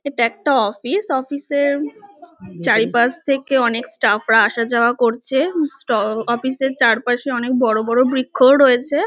এটা একটা office. Office এর চারিপাশ থেকে অনেক স্টাফ রা আসা যাওয়া করছে। উম ট অফিস এর চারপাশে অনেক বড় বড় বৃক্ষও রয়েছে।